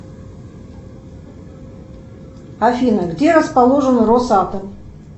афина где расположен рос атом